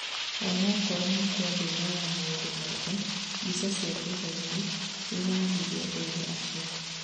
onakorwo mũkwa ndunoya maũndũ mothe, mbica cia thutha-inĩ nĩironanirie erĩ acio